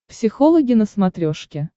психологи на смотрешке